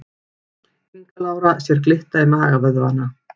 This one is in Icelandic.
Inga Lára sér glitta í magavöðvana